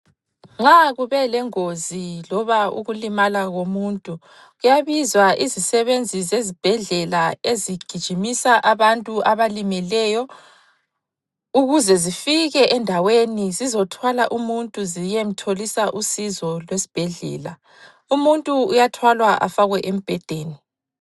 Nxa kubelengozi loba ukulimala komuntu, kuyabizwa izisebenzi zezibhedlela ezigijimisa abantu abalimeleyo ukuze zifike endaweni zizothwala umuntu ziyemtholisa usizo lwesibhedlela. Umuntu uyathwalwa afakwe embhedeni.